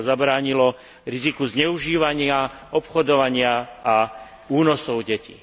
Aby sa zabránilo riziku zneužívania, obchodovania a únosov detí.